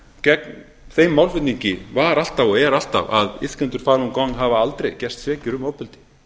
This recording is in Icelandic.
gegn þeim málflutningi var alltaf og er alltaf að iðkendur falun gong hafa aldrei gerst sekir um ofbeldi